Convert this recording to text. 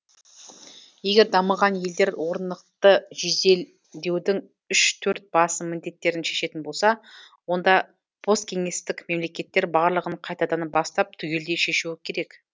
егер дамыған елдер орнықты жеделдеудің үш төрт басым міндеттерін шешетін болса онда посткеңестік мемлекеттер барлығын қайтадан бастап түгелдей шешуі керек